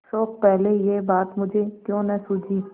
शोक पहले यह बात मुझे क्यों न सूझी